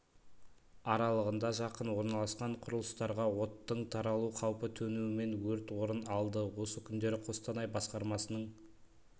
аралығында жақын орналасқан құрылыстарға оттың таралуы қаупі төнуімен өрт орын алды осы күндері қостанай басқармасының